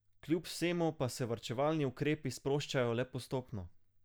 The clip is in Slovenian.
Kjub vsemu pa se varčevalni ukrepi sproščajo le postopno.